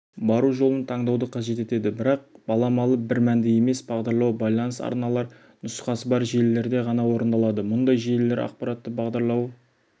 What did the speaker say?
бару жолын таңдауды қажет етеді бірақ баламалы бір мәнді емес бағдарлау байланыс арналар нұсқасы бар желілерде ғана орындалады мұндай желілер ақпаратты бағдарлауы